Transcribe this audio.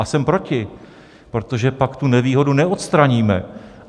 A jsem proti, protože pak tu nevýhodu neodstraníme.